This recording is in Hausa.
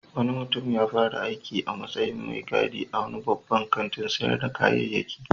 Wani mutum ya fara aiki a matsyin mai gadi a wani babban kantin sayar da kayayyaki